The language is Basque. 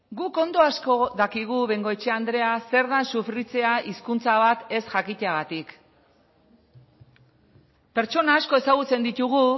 guk ondo asko dakigu bengoechea andrea zer den sufritzea hizkuntza bat ez jakiteagatik pertsona asko ezagutzen ditugu